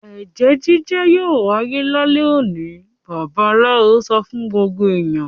"Ẹ̀jẹ́ jíjẹ́ yóò wáyé lálẹ́ òní!" Babaláwo sọ fún gbogbo ènìyàn.